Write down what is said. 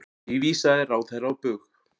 Því vísaði ráðherra á bug.